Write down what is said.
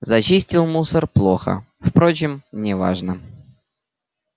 зачистил мусор плохо впрочем не важно